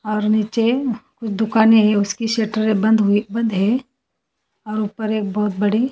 और नीचे कुछ दुकानें हैं उसकी सटरे बन्द हुई बंद है और ऊपर एक बहोत बड़ी--